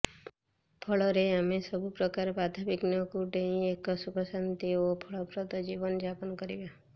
ଫଳରେ ଆମେ ସବୁପ୍ରକାରର ବାଧାବିଘ୍ନକୁ ଡେଇଁ ଏକ ସୁଖଶାନ୍ତି ଓ ଫଳପ୍ରଦ ଜୀବନଯାପନ କରିପାରିବା